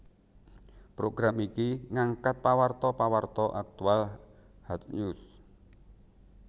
Program iki ngangkat pawarta pawarta aktual hard news